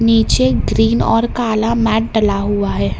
नीचे ग्रीन और काला मेट डला हुआ है।